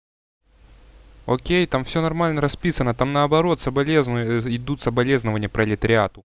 окей там всё нормально расписано там наоборот соболезную идут соболезнование пролетариату